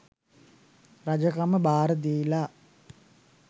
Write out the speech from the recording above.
රජකම භාර දීලා